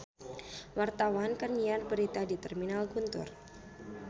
Wartawan keur nyiar berita di Terminal Guntur